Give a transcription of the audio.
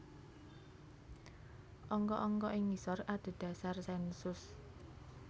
Angka angka ing ngisor adhedhasar sènsus